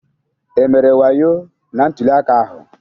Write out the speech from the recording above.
E mere wayo na ntuli aka ahụ?